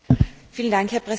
Herr Präsident!